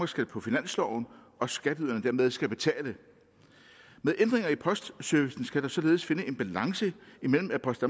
skal på finansloven og skatteyderne dermed skal betale med ændringer i postservicen skal der således findes en balance mellem at post